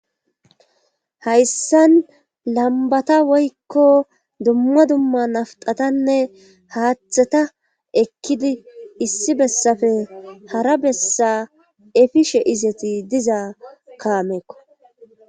Hayssan lambata woykko dumma dumma nafxatanne haaththata ekkidi issi bessafe hara bessa efishe izeti diza kaameekko.